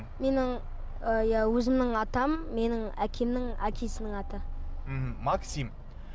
менің і иә өзімнің атам менің әкемнің әкесінің аты мхм максим